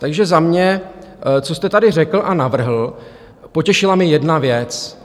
Takže za mě, co jste tady řekl a navrhl, potěšila mě jedna věc.